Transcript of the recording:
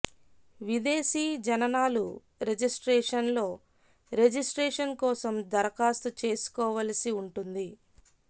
విదేశీ జననాలు రిజిస్ట్రేషన్ లో రిజిస్ట్రేషన్ కోసం దరఖాస్తు చేసుకోవలసి వుంటుంది